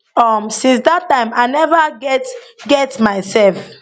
um since dat time i neva get get myself